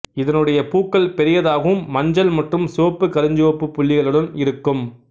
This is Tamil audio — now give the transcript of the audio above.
இதனுடைய பூக்கள் பெரியதாகவும் மஞ்சள் மற்றும் சிவப்பு கருஞ்சிவப்பு புள்ளிகளுடன் இருக்கும்